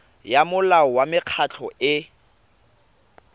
ya molao wa mekgatlho e